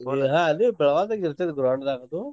ಹಾ ಅದೇ ಅಲಿ ಬೆಳ್ಗಾವ್ದೆಗ್ ಇರ್ತೇತ್ ground ದಾಗ್ ಅದು.